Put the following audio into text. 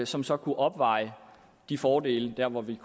som så kunne opveje de fordele der hvor vi